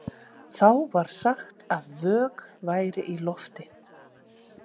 Þá var sagt að „vök væri í lofti“.